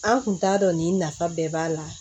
An kun t'a dɔn nin nafa bɛɛ b'a la